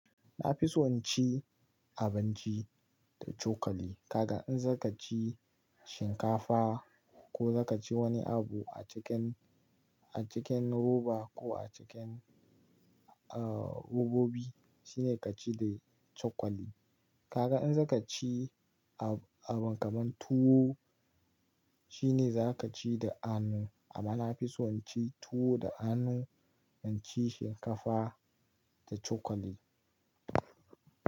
Na fi so in ci abinci da cokali. Kaga in za ka ci shinkafa ko za ka ci wani abu a cikin, a cikin roba ko a cikin, uh, robobi shine ka ci da cokali. Kaga in za ka ci abin kamar tuwo shine za ka ci da hanu, amma na fi so in ci tuwo da hanu in ci shinkafa da cokali.